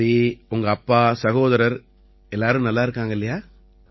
சரி உங்க அப்பா சகோதரர் எல்லாரும் நல்லா இருக்காங்க இல்லையா